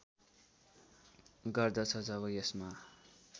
गर्दछ जब यसमा